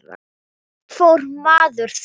Og hvert fór maður þá?